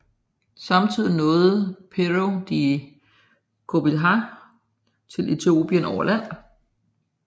Samtidig nåede Pêro da Covilhã til Ethiopien over land